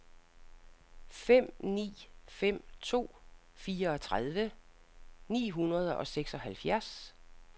fem ni fem to fireogtredive ni hundrede og seksoghalvfjerds